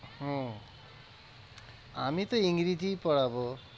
হম আমি তো ইংরেজিই পড়াবো।